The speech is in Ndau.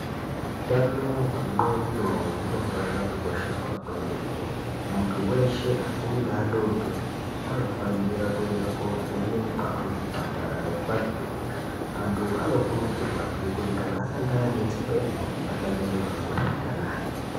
Utano hwendxondo unofanira kukosheswa kwemene muntu weshe akuru neadodori anofanira kuenda kuvheneka kuzvipatara nekumakiriniki muntu anokurudzirwa zve kuti anga ane dzimweni atsvage muntu wekureketa naye.